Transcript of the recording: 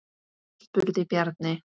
spurði Bjarni.